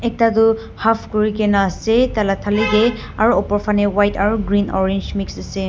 ekta du half kurigena ase taila thali teh aru opor phane white aru orange green mix ase.